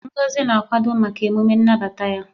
Ngozi na-akwado maka emume nnabata ya.